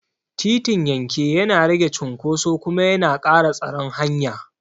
Titin yanke yana rage cunkoso kuma yana ƙara tsaron hanya.